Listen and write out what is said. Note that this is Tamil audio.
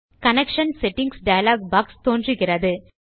கனெக்ஷன் செட்டிங்ஸ் டயலாக் பாக்ஸ் தோன்றுகிறது